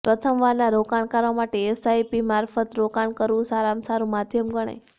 પ્રથમવારના રોકાણકારો માટે એસઆઇપી મારફત રોકાણ કરવું સારામાં સારું માધ્યમ ગણાય